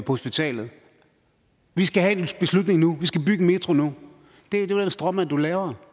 hospitalet vi skal have en beslutning nu vi skal bygge en metro nu det er den stråmand du laver